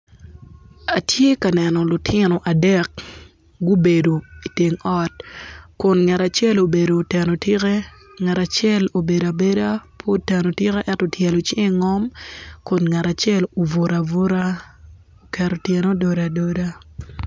Atye ka neno lutino adek gubedo iteng ot kun ngat acel ubedo oteno tikke ngat acel obedo abeda oteno tikke ento otyelo cinge i ngom kun ngat acel obutu abuta oketo tyene ododo adoda